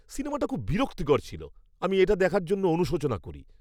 সিনেমাটি খুব বিরক্তিকর ছিল; আমি এটি দেখার জন্য অনুশোচনা করি।